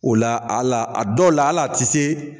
O la ala a dɔw la ala ti se